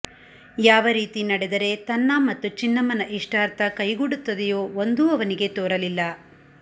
ಯಾವ ರೀತಿ ನಡೆದರೆ ತನ್ನ ಮತ್ತು ಚಿನ್ನಮ್ಮನ ಇಷ್ಟಾರ್ಥ ಕೈಗೂಡುತ್ತದೆಯೋ ಒಂದೂ ಅವನಿಗೆ ತೋರಲಿಲ್ಲ